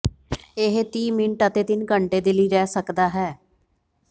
ਇਹ ਤੀਹ ਮਿੰਟ ਅਤੇ ਤਿੰਨ ਘੰਟੇ ਦੇ ਲਈ ਰਹਿ ਸਕਦਾ ਹੈ